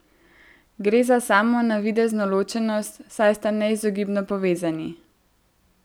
Gre za samo navidezno ločenost, saj sta neizogibno povezani.